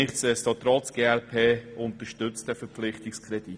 Nichtdestotrotz unterstützt die glp den Verpflichtungskredit.